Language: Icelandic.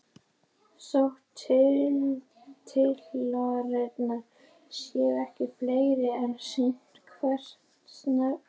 Þótt titlarnir séu ekki fleiri er sýnt hvert stefnir.